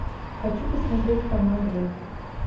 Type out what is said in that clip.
хочу посмотреть канал драйв